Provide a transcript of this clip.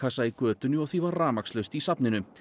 í götunni og því var rafmagnslaust í safninu